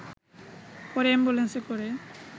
পরে অ্যাম্বুলেন্সে করে